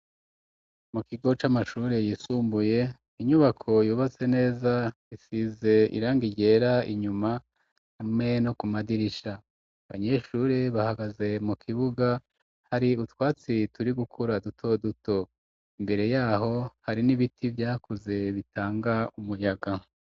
Mu kigo, c'amashure yisumbuye, inyubako yubatse neza, isize irangi ryera, inyuma hamwe no ku madirisha; abanyeshure, bahagaze mu kibuga, hari utwatsi turi gukura, duto duto; imbere y'aho hari n'ibiti vyakuze, bitanga umuyaga.